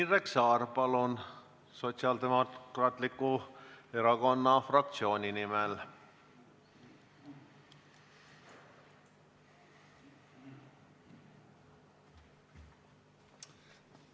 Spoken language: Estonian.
Indrek Saar, palun, Sotsiaaldemokraatliku Erakonna fraktsiooni nimel!